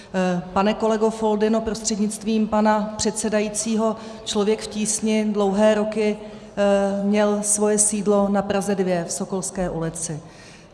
Pane kolego Foldyno, prostřednictvím pana předsedajícího, Člověk v tísni dlouhé roky měl svoje sídlo na Praze 2 v Sokolské ulici.